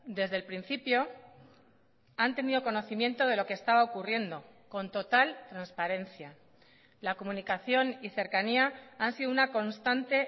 desde el principio han tenido conocimiento de lo que estaba ocurriendo con total transparencia la comunicación y cercanía han sido una constante